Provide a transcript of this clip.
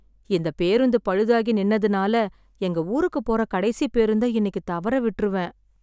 இந்த பேருந்து பழுதாகி நின்னதுனால எங்க ஊருக்குப் போற கடைசி பேருந்த இன்னிக்கு தவற விட்ருவேன்.